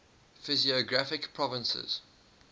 physiographic provinces